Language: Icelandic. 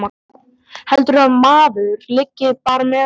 Heldurðu að maður liggi bara með svoleiðis á lager.